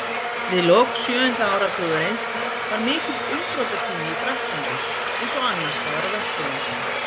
Við lok sjöunda áratugarins var mikill umbrotatími í Frakklandi, eins og annars staðar á Vesturlöndum.